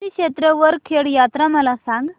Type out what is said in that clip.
श्री क्षेत्र वरखेड यात्रा मला सांग